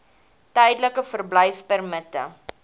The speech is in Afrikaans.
tydelike verblyfpermitte